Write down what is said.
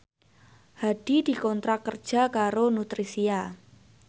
Hadi dikontrak kerja karo Nutricia